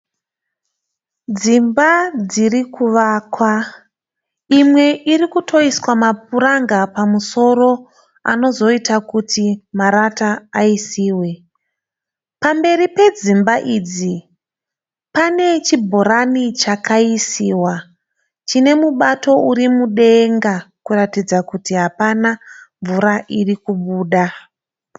Dzimba dziri kuvakwa. Imwe iri kutoiswa mapuranga pamusoro anozoita kuti marata aisiwe. Pamberi pedzimba idzi pane chibhorani chakaisiwa chine mubato uri mudenga kuratidza kuti hapana mvura iri kubuda.